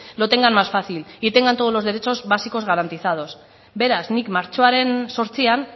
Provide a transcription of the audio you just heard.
lo tengan más fácil y tengan todos los derechos básicos garantizados beraz nik martxoaren zortzian